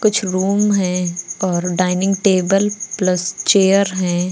कुछ रूम हैं और डाइनिंग टेबल प्लस चेयर हैं।